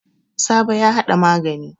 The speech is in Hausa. Sabo ya hada magani.